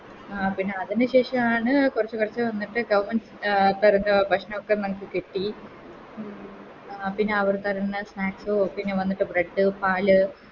ആ അതിന് ശേഷാണ് കൊറച്ച് കൊറച്ച് വന്നിട്ട് Government അഹ് തരുന്ന ഭക്ഷണോക്കെ ഞങ്ങക്ക് കിട്ടി പിന്നെ അവർ തരുന്ന Snacks പിന്നെ വന്നിട്ട് Bread പാല്